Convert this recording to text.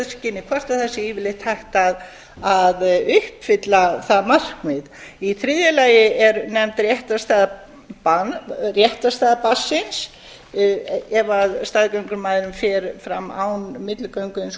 hvort það sé yfirleitt hægt að uppfylla það markmið í þriðja lagi er nefnd réttarstaða barnsins ef staðgöngumæðrun fer fram án milligöngu hins